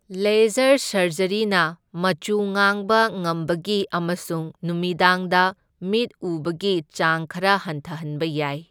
Laser ꯁꯔꯖꯔꯤꯅ ꯃꯆꯨ ꯉꯥꯡꯕꯉꯝꯕꯒꯤ ꯑꯃꯁꯨꯡ ꯅꯨꯃꯤꯗꯥꯡꯗ ꯃꯤꯠ ꯎꯕꯒꯤ ꯆꯥꯡ ꯈꯔ ꯍꯟꯊꯍꯟꯕ ꯌꯥꯏ꯫